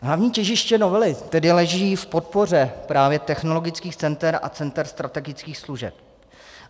Hlavní těžiště novely tedy leží v podpoře právě technologických center a center strategických služeb.